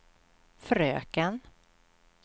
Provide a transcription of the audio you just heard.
fröken